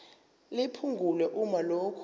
liphungulwe uma lokhu